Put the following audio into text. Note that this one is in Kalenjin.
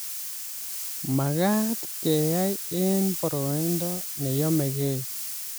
Makat keyai eng boroindo ne yomegei